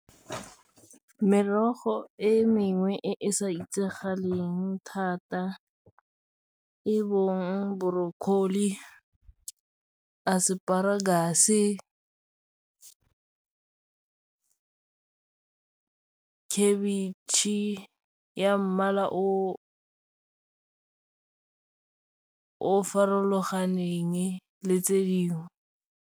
Merogo e mengwe e e sa itsagaleng thata e bong broccoli, asparagus, khabetšhe ya mmala o farologaneng le tse dingwe.